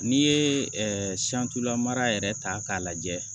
N'i ye lamara yɛrɛ ta k'a lajɛ